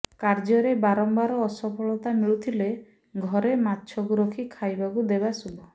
କାର୍ଯ୍ୟରେ ବାରମ୍ୱାର ଅସଫଳତା ମିଳୁଥିଲେ ଘରେ ମାଛକୁ ରଖି ଖାଇବାକୁ ଦେବା ଶୁଭ